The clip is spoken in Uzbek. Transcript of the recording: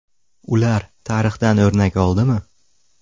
Ular tarixdan o‘rnak oldimi?